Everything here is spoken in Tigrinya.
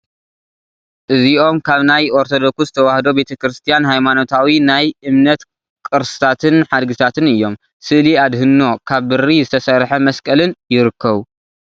እዚኦም ካብ ናይ ኦርቶዶክስ ተዋህዶ ቤተ ክርስትያን ሃይማኖታዊ ናይ እምነት ቅርስታትን ሓድግታትን እዮም፡፡ ስእሊ ኣድህኖ፣ ካብ ብሪ ዝተሰርሐ መስቀልን ይርከቡ፡፡